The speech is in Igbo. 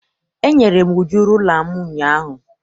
Enyere m Uju rula m ụnyaahụ.